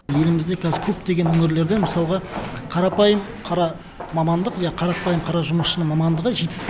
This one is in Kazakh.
елімізде қазір көптеген өңірінде мысалғы қарапайым қара мамандық ия қарапайым қара жұмысшының мамандығы жетіспей